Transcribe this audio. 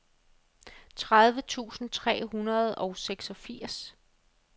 tredive tusind tre hundrede og seksogfirs